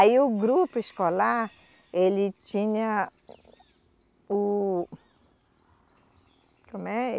Aí o grupo escolar, ele tinha o como é?